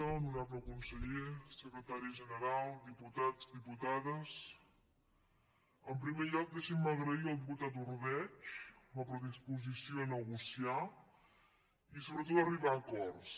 honorable conseller secretari general diputats diputades en primer lloc deixin me agrair al diputat ordeig la predisposició a negociar i sobretot a arribar a acords